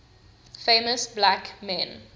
famous black men